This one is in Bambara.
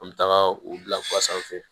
An bɛ taga u bila sanfɛ